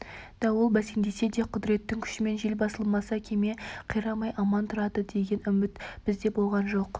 дауыл бәсеңдесе де құдіреттің күшімен жел басылмаса кеме қирамай аман тұрады деген үміт бізде болған жоқ